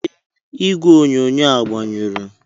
Ee, igwe onyonyo agbanyụrụ.